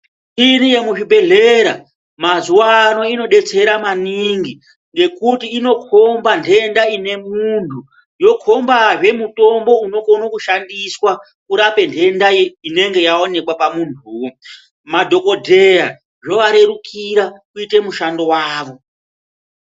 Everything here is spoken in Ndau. Iriyo muzvibhedhlera mazuva ano inobetsera maningi ngekuti inokomba nhenda ine muntu yokomba zvee mutombo unokone kushandiswa kurape nhenda inenge yaonekwa pamuntu woo madhokodheya zvovarerukira kuite mushando wavo.